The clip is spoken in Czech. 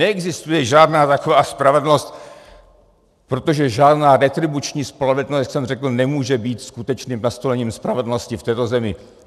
Neexistuje žádná taková spravedlnost, protože žádná retribuční spravedlnost, jak jsem řekl, nemůže být skutečným nastolením spravedlnosti v této zemi.